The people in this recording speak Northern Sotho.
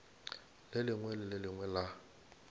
lengwe le le lengwe la